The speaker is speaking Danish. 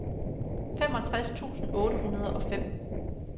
femogtres tusind otte hundrede og fem